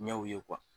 Ɲɛw ye